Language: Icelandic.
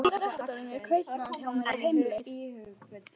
Strákurinn á brettunum er kaupamaður hjá mér, á heimleið.